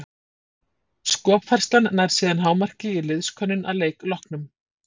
Skopfærslan nær síðan hámarki í liðskönnun að leik loknum.